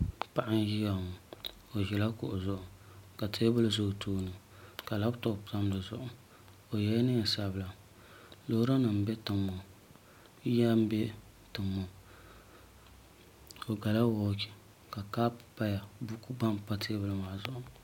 Paɣa n ʒiya ŋo o ʒila kuɣu zuɣu ka teebuli ʒɛ o tooni ka labitob tam di zuɣu o yɛla neen sabila loori nim n bɛ tiŋ ŋo yiya n bɛ tiŋ ŋo o gala wooch ka kaap tamya buku gba n pa teebuli maa zuɣu maa